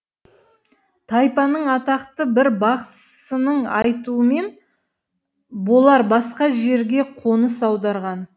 тайпаның атақты бір бақсысының айтуымен бұлар басқа жерге қоныс аударған